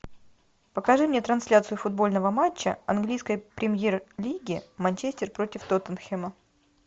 покажи мне трансляцию футбольного матча английской премьер лиги манчестер против тоттенхэма